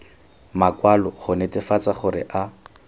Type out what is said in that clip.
makwalo go netefatsa gore a